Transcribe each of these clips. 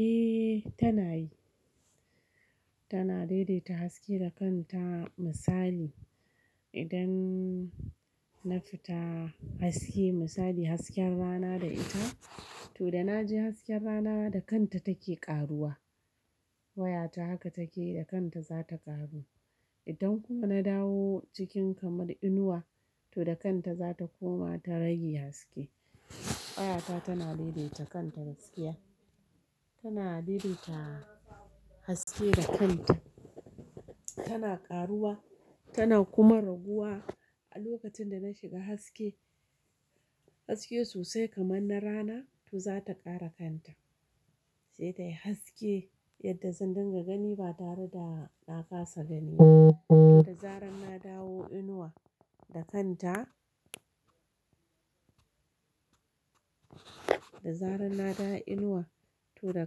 Eh tana yi, tana daidaita haske da kanta. Misali idan na fita haske misali hasken rana da ita, to da na je hasken rana da kanta take karuwa. Wayata haka take da kanta za ta ƙaru. Idan kuma na dawo cikin kamar inuwa to da kanta za ta koma ta rage haske. Wayata tana daidaita kanta haske. Tana daidaita haske da kanta, tana ƙaruwa tana kuma raguwa. A lokacin da na shiga haske haske sosai kamar na rana to za ta ƙara kanta. Sai dai haske yadda zan dinga gani ba tare da na kasa gani ba. Da zarar na dawo inuwa da kanta, da zarar na dawo inuwa to da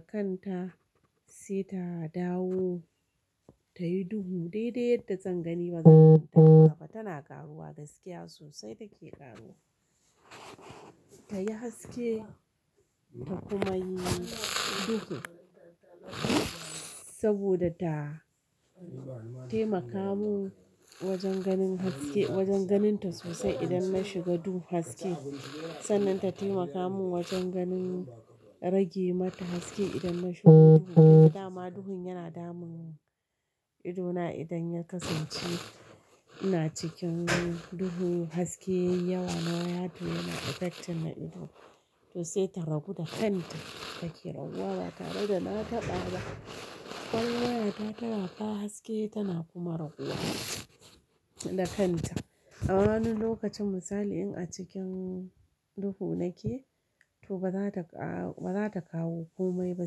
kanta sai ta dawo tayi duhu. Daidai yadda zan gani bazan taɓa tana ƙaruwa gaskiya sosai take ƙaruwa. Ta yi haske ta kuma yi duhu saboda ta taimaka mun wajen ganin haske wajen ganin ta sosai idan na shiga duhu haske. Sannan ta taimaka mun wajen ganin rage mata haske idan na shiga duhu. Da ma duhun yana damun idona idan ya kasance ina cikin duhu haske yawa na waya to yana affecting na ido. To sai ta ragu da kanta take raguwa ba tare da na taɓa ba. Kwall wayata tana fa haske tana kuma raguwa da kanta. A wasu lokacin misali in a cikin duhu nake to ba za ta ba za ta kawo komai ba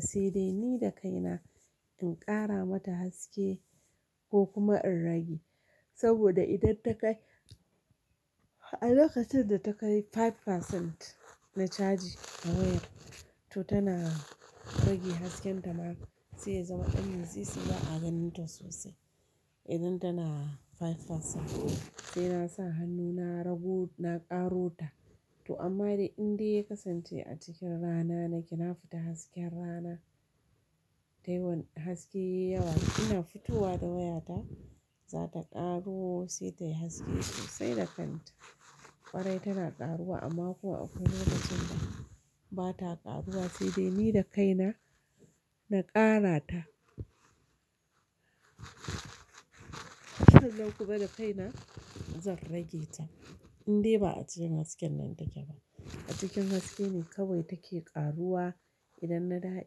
sai dai ni da kaina in ƙara mata haske ko kuma in rage. Saboda idan ta kai a lokacin da ta kai kashi biyar na chaji ta wayar to tana rage hasken ta ma sai ya zama ɗan nusi sai na a ganin ta sosai. Idan tana kashi biyar sai na sa hannu na ragu na ƙaro ta. To amma dai in dai ya kasance a cikin rana nake na fita hasken rana dai wani haske yawa ina fitowa da wayata za ta ƙaru sai dai haske sosai da kanta. Ƙwarai tana ƙaruwa amma kuwa a wasu lokacin da ba ta ƙaruwa sai dai ni da kaina na ƙara ta. Kullum kuma da kaina zan rage ta. In dai ba a cikin hasken nan take ba. A cikin haske ne kawai take ƙaruwa idan na dawo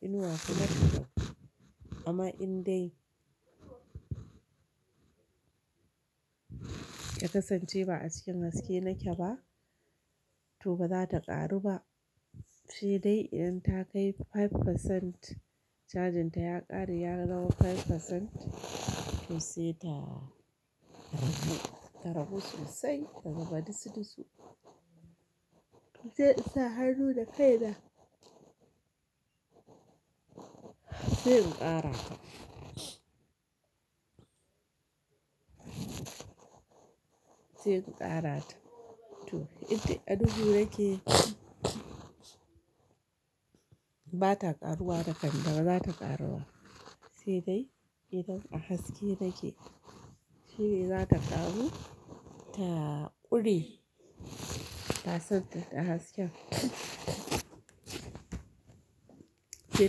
inuwa kuma amma in dai ya kasance ba a cikin haske nake ba to ba za ta ƙaru ba. Sai dai idan ta kai kashi biyar cajin ta ya ƙare ya zama kashi biyar to sai ta ragu, ta ragu sosai ta zama disu disu. Sai in sa hannu da kaina sai in ƙara. Sai ku ƙara ta. To itti a duhu nake ba ta ƙaruwa da kan ba za ta ƙaruwa. Sai dai idan a haske take shine za ta ƙaru ta ƙure pasant ɗin hasken. Sai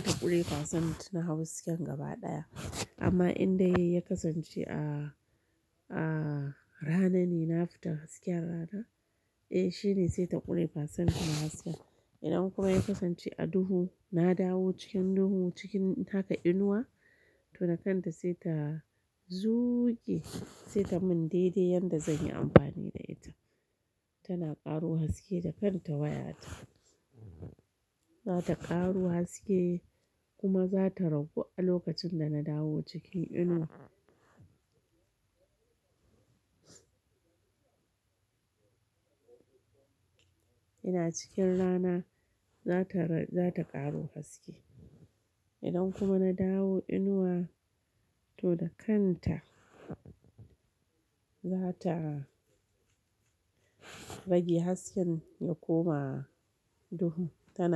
ta ƙure pasant na hawa hasken gaba ɗaya. Amma indai ya kasance a, a rana ne na fita hasken rana eh shine sai ta ƙure pasant na haske. Idan kuma ya kasance a duhu na dawo cikin duhu cikin taka inuwa to da kanta sai ta zuƙe sai ta mun daidai yadda zan yi amfani da ita. Tana ƙaruwa haske da kanta wayata. Za ta ƙaru haske kuma za ta ragu a lokacin da na dawo cikin inuwa. Ina cikin rana za ta, za ta ƙaru haske. Idan kuma na dawo inuwa to da kanta za ta rage hasken ya koma duhu ta.